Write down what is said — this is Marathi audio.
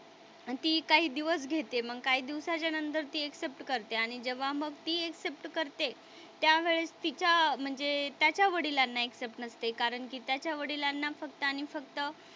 आणि ती काही दिवस घेते. मग काही दिवसाच्या नंतर ती एक्सेप्ट करते आणि जेव्हा मग ती एक्सेप्ट करते त्यावेळेस तिच्या म्हणजे त्याच्या वडिलांना एक्सेप्ट नसते कारण गीताच्या वडिलांना फक्त आणि फक्त,